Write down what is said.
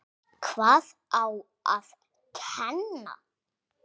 Hvað á að kenna?